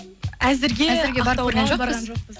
әзірге